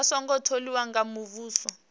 a songo tholiwa nga muvhuso